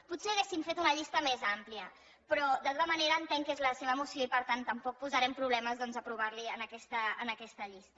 potser hauríem fet una llista més àmplia però de tota manera entenc que és la seva moció i per tant tampoc posarem problemes doncs a aprovar la hi amb aquesta llista